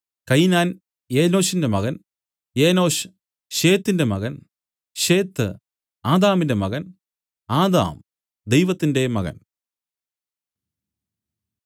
കയിനാൻ എനോശിന്റെ മകൻ എനോശ് ശേത്തിന്റെ മകൻ ശേത്ത് ആദാമിന്റെ മകൻ ആദാം ദൈവത്തിന്റെ മകൻ